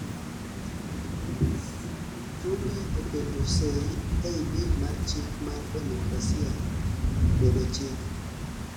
tumbe oketo seyi ei bil mar chik mar demokrasia bedo chik